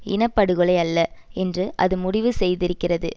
இன படுகொலை அல்ல என்று அது முடிவு செய்திருக்கிறது